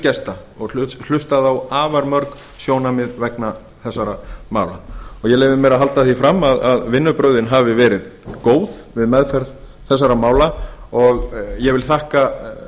gesta og hlustað á afar mörg sjónarmið vegna þessara mála og ég leyfi mér að halda því fram að vinnubrögðin hafi verið góð við meðferð þessara mála og ég vil þakka